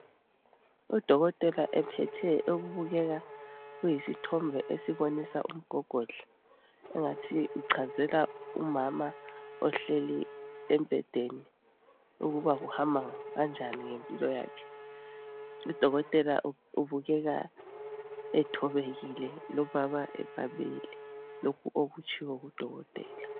Udokotela ephethe okubukeka kuyisithombe esibonisa umgogodla engathi uchazela umama ohleli embhedeni ukuba kuhamba kanjani ngempilo yakhe. Udokotela ubukeka ethobekile lomama emamele lokho okutshiwo ngudokotela.